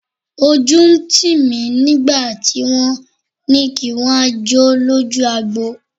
Ojú ń tì mí nígbà tí wọ́n ní kí n wá jó lójú agbo.